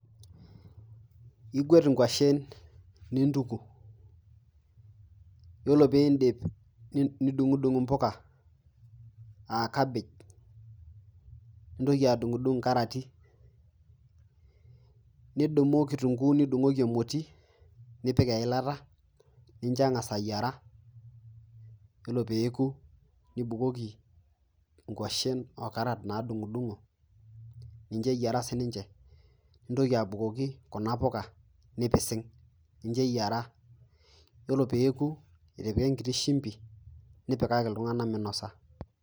Igwet ingwashen nintuku. Ore pee indipip nidung'udung' impoka a cabbage, nintoki adung'udung' inkarati, nidumu kitunguu nidung'oki emotii nipik eilata nincho eng'as ayiera, yiolo pee eoku nibukoki ngwashen o karat nadung'udung'o ninchoeyira sii ninche, nintoki abukoki kuna poka nipising', ninche eyira. Ore pee eoku itipika enkiti shumbi, nipikaki iltung'ana.